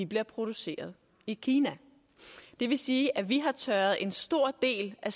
bliver produceret i kina det vil sige at vi har tørret en stor del af